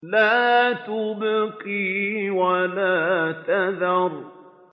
لَا تُبْقِي وَلَا تَذَرُ